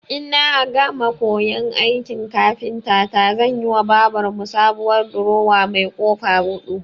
Ina gama koyan aikin kafintata zanyiwa babar mu sabuwar durowa mai ƙofa huɗu.